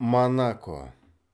монако